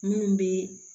Munnu be